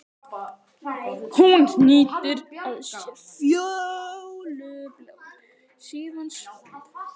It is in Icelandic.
Hún hnýtir að sér fjólubláan, síðan slopp.